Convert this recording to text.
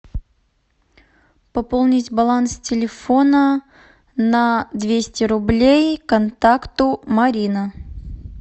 пополнить баланс телефона на двести рублей контакту марина